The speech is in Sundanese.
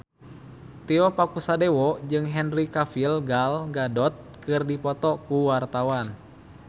Tio Pakusadewo jeung Henry Cavill Gal Gadot keur dipoto ku wartawan